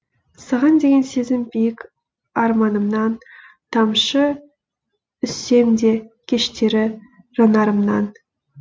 саған деген сезім биік арманымнан тамшы үзсем де кештері жанарымнан